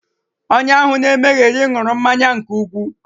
Onye ahụ na-emegheri ṅụrụ mmanya nke ukwu